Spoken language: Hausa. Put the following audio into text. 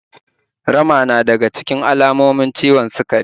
Rama na daga cikin alamomin ciwon sukari.